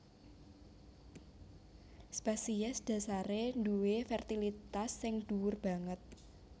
Spesies dhasaré duwé fertilitas sing dhuwur banget